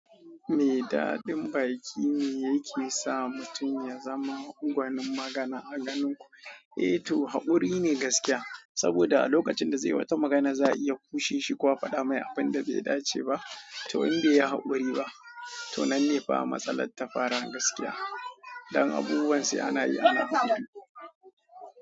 Me daɗin baki ne yake sa mutum ya zama gwanin magana a ganin ku. Eh to, haƙuri ne gaskiya. Saboda a lokacin da zai yi wata magana za a iya kushe shi ko a faɗa mai abun da bai dace ba. To in bai yi haƙuri ba, to nan ne fa matsalar ta fara gaskiya. Dan abubuwan sai ana yi ana haƙuri.